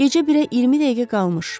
Gecə birə 20 dəqiqə qalmış.